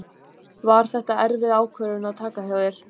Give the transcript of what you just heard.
Var þetta erfið ákvörðun að taka hjá þér?